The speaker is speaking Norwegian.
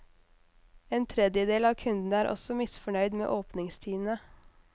En tredjedel av kundene er også misfornøyd med åpningstidene.